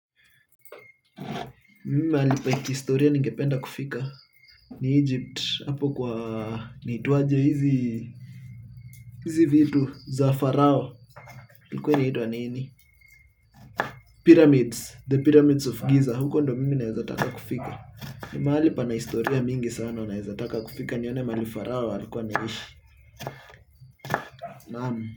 Mimi mahali pa kihistoria ningependa kufika ni Egypt hapo kwa inaitwaje hizi vitu? Za pharaoh ilikuwa inaitwa nini? Pyramids, the pyramids of giza, huko ndiyo mimi ninaweza taka kufika ni mahali pana historia mingi sana ninaweza taka kufika nione mahali pharaoh alikuwa anaishi naam.